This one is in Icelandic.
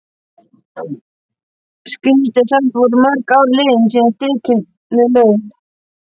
Skrýtið, og samt voru mörg ár liðin síðan stríðinu lauk.